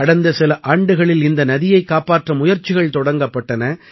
கடந்த சில ஆண்டுகளில் இந்த நதியைக் காப்பாற்ற முயற்சிகள் தொடங்கப்பட்டன